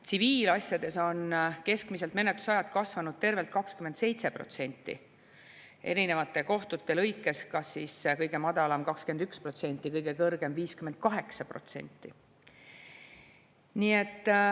Tsiviilasjades on keskmiselt menetlusajad kasvanud tervelt 27%, erinevate kohtute lõikes kõige madalam 21%, kõige kõrgem 58%.